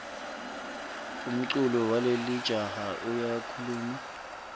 umculo walelijaha uyakhuluma